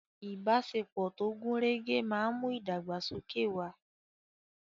Ìbáṣepọ̀ tó gùn rẹ́gẹ́ máa ń mú ìdàgbàsókè wà.